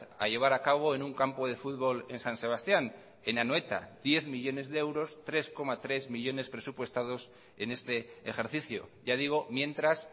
a llevar a cabo en un campo de futbol en san sebastián en anoeta diez millónes de euros tres coma tres millónes presupuestados en este ejercicio ya digo mientras